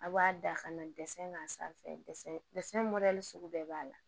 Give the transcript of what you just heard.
A b'a da ka na dɛsɛ k'a sanfɛ mɔdɛli sugu bɛɛ b'a la